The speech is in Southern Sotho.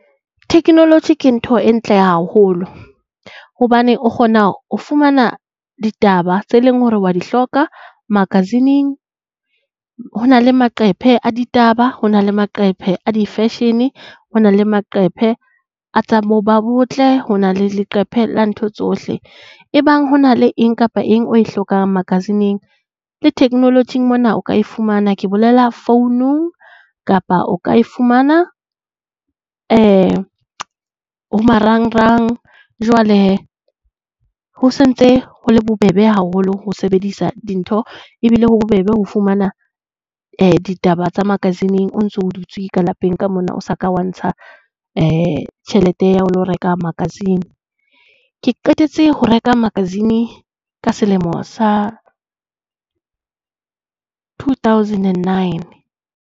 Theknoloji ke ntho e ntle haholo hobane o kgona ho fumana ditaba tse leng hore wa di hloka magazine-eng. Hona le maqephe a ditaba, ho na le maqephe a di-fashion, ho na le maqephe a tsa bo ba botle, ho na le leqephe la ntho tsohle. Ebang ho na le eng kapa eng o e hlokang magazine-eng le theknolojing mona o ka e fumana. Ke bolela founung, kapa o ka e fumana ho marang-rang. Jwale hee ho sentse ho le bobebe haholo ho sebedisa dintho ebile ho bobebe ho fumana ditaba tsa magazine-eng o ntso dutse ka lapeng ka mona o sa ka wa ntsha tjhelete ya ho lo reka magazine. Ke qetetse ho reka magazine ka selemo sa two thousand and nine.